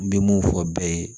N bɛ mun fɔ bɛɛ ye